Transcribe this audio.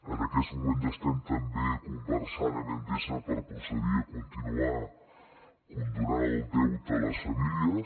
en aquests moments estem també conversant amb endesa per procedir a continuar condonant el deute a les famílies